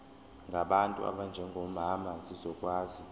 ngabantu abanjengomama zizokwazi